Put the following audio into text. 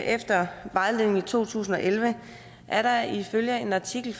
efter vejledningen i to tusind og elleve er der ifølge en artikel